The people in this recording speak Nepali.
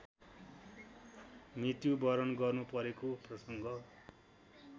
मृत्युवरण गर्नु परेको प्रसङ्ग